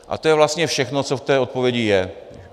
A to je vlastně všechno, co v té odpovědi je.